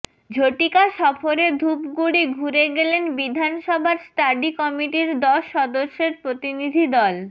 ঝটিকা সফরে ধূপগুড়ি ঘুরে গেলেন বিধানসভার স্টাডি কমিটির দশ সদস্যের প্রতিনিধি দল